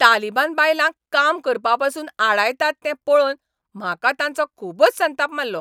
तालिबान बायलांक काम करपापसून आडायतात तें पळोवन म्हाका तांचो खूबच संताप मारलो.